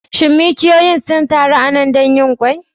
Shin mikiyoyin sun taru a nan don yin ƙwai?